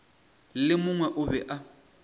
le mongwe o be a